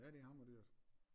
Ja det hammer dyrt